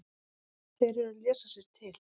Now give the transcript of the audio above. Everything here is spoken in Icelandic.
Þeir eru að lesa sér til.